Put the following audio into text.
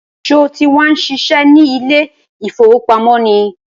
Sọ ti wá ń ṣiṣẹ́ ní ilé ìfowópamọ́ ni?